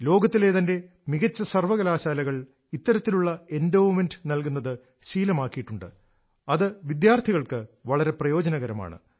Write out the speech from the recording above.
ലോകത്തിലെ തന്നെ മികച്ച സർവകലാശാലകൾ ഇത്തരത്തിലുള്ള എൻഡോവ്മെന്റ് നൽകുന്നത് ശീലമാക്കിയിട്ടുണ്ട് അത് വിദ്യാർഥികൾക്ക് വളരെ പ്രയോജനകരമാണ്